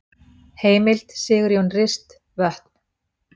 Heimild: Sigurjón Rist, Vötn.